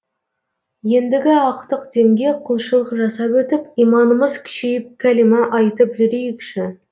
ендігі ақтық демге құлшылық жасап өтіп иманымыз күшейіп кәлима айтып жүрейікші